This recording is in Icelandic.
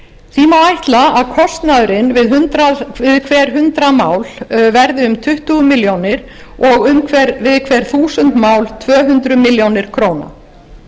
því má ætla að kostnaðurinn við hver hundrað mál verði um tuttugu milljónir og við hver þúsund mál tvö hundruð milljónir króna